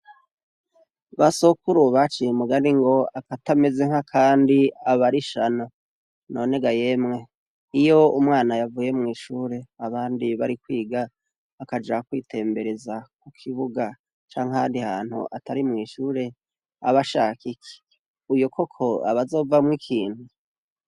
Basokuru baciye mugani ngo akatameze nk' akandi aba arishano. None ga yemwe! iyo umwana yavuye mw' ishure abandi bari kwiga akaja kwitembereza ku kibuga canke ahandi hantu atari mw'ishure, aba ashaka iki? uyo koko aba azovamwo ikintu!